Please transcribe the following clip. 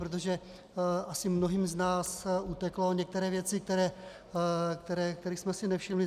Protože asi mnohým z nás utekly některé věci, kterých jsme si nevšimli.